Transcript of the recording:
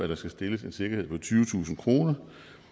der skal stilles en sikkerhed på tyvetusind kr